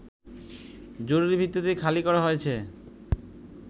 জরুরী ভিত্তিতে খালি করা হয়েছে